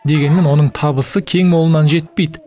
дегенмен оның табысы кең молынан жетпейді